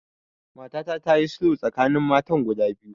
Matata ta yi sulhu tsakanin matan guda biyu